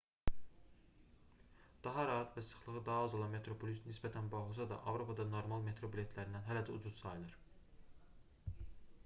daha rahat və sıxlığı daha az olan metroplus nisbətən baha olsa da avropada normal metro biletlərindən hələ də ucuz sayılır